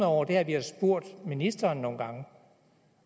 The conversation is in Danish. over er at vi har spurgt ministeren nogle gange